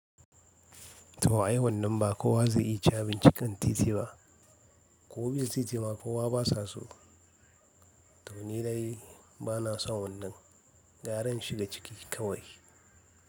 Ta ai wannan ba kowa zai iya cin abinci kan titi ba ko man city ma, kowa ba sa so. Nidai ba na son wannan gyara in shiga ciki kawai.